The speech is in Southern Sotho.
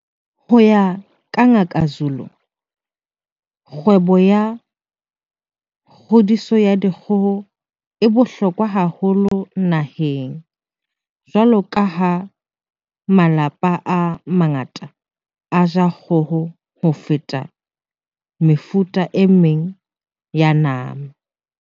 Ho ya ka Ngaka Zulu, kgwebo ya kgodiso ya dikgoho e bohlokwa haholo naheng jwalo ka ha malapa a mangata a ja kgoho ho feta mefuta e meng ya nama.